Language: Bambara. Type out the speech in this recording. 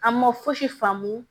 An ma fosi faamu